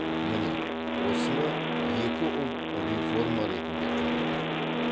міне осыны екі ұлт реформа ретінде қабылдайды